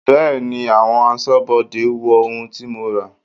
Bẹẹni, àwọn aṣọ́bodè wo ohun tí mo ra.